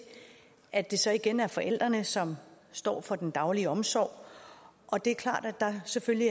at det så igen er forældrene som står for den daglige omsorg og det er klart at der selvfølgelig